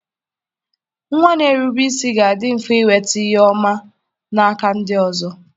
Nwa na-erube isi ga-adị mfe inweta ihu ọma n'aka ndị ọzọ